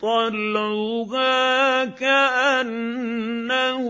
طَلْعُهَا كَأَنَّهُ